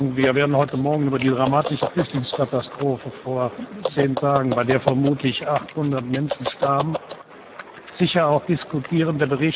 Wir werden heute Morgen über die dramatische Flüchtlingskatastrophe vor zehn Tagen, bei der vermutlich 800 Menschen starben, sicher auch diskutieren.